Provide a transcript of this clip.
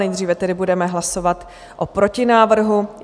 Nejdříve tedy budeme hlasovat o protinávrhu.